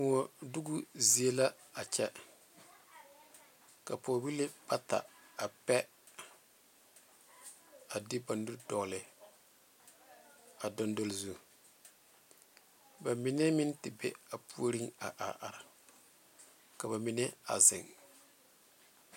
Kõɔ doko zie la a kyɛ ka pɔge bibile bata a pɛ a de ba nu dogle a dondogle zu ba mine meŋ te be a puori a are are ka ba mine a zeŋ.